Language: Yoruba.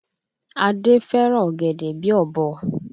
Adé fẹ́ràn ọ̀gẹ̀dẹ̀ bíi ọ̀bọ